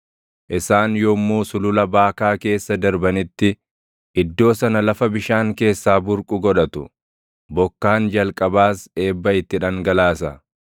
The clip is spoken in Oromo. Isaan yommuu Sulula Baakaa keessa darbanitti, iddoo sana lafa bishaan keessaa burqu godhatu; bokkaan jalqabaas eebba itti dhangalaasa.